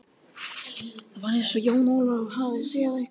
Það var eins og Jón Ólafur áttaði sig allt í einu á mikilvægi ferðarinnar.